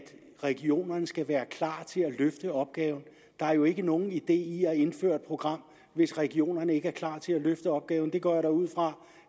regionerne skal være klar til at løfte opgaven der er jo ikke nogen idé i at indføre et program hvis regionerne ikke er klar til at løfte opgaven det går jeg ud fra